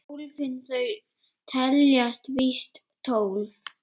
Hólfin þau teljast víst tólf.